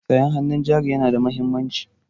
Sayan hannun jari yana da mahimmanci.